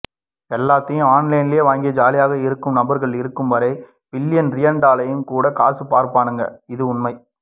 எல்லாத்தையும் ஆன்லைன் லேவாங்கி ஜாலியா இருக்கும் நபர்கள் இருக்கும் வரை பில்லியனா ட்ரில்லியண்ட்லேயும்கூட காசு பார்ப்பானுக இது உண்மை